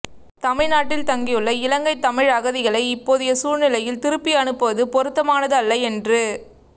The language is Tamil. தமிழ்நாட்டில் தங்கியுள்ள இலங்கைத் தமிழ் அகதிகளை இப்போதைய சூழ்நிலையில் திருப்பி அனுப் புவது பொருத்தமானதல்ல என்று